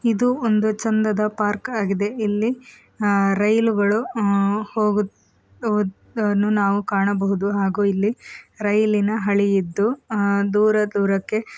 ಇದು ಒಂದು ಚಂದದ ಪಾರ್ಕ್ ಆಗಿದೆ ಇಲ್ಲಿ ರೈಲುಗಳು ಹೋಗುವುದನ್ನು ನಾವು ಕಾಣಬಹುದು ಹಾಗೂ ಇಲ್ಲಿ ರೈಲಿನ ಹಳಿ ಇದ್ದು ಹಾ ದೂರ ದೂರಕ್ಕೆ--